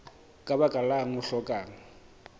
ka baka lang o hlokang